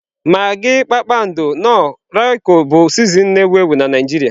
Magị Kpakpando, Knoọ, Roykọ bụ sịzịnin na-ewu ewu Najiria.